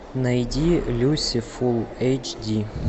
найди люси фулл эйч ди